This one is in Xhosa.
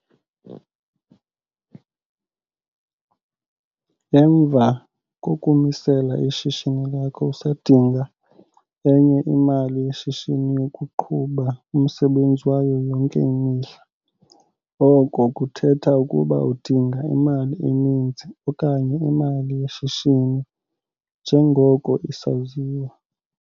Emva kokumisela ishishini lakho usadinga enye imali yeshishini yokuqhuba umsebenzi wayo yonke imihla. Oko kuthetha ukuba udinga imali eninzi okanye imali yeshishini njengoko isaziwa.